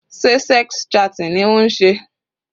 Sé sex chatting ni ó ń ṣe?